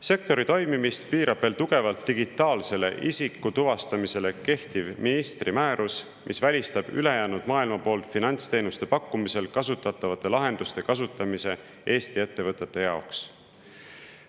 Sektori toimimist piirab veel tugevalt digitaalset isikutuvastamist käsitlev ministri määrus, mis välistab ülejäänud maailma poolt finantsteenuste pakkumisel kasutatavate lahenduste kasutamise Eesti ettevõtetes.